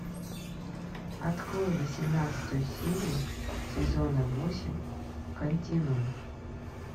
открой восемнадцатую серию сезона восемь континуум